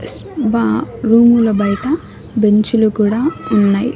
స్ బా రూముల బయట బెంచిలు కూడా ఉన్నయ్.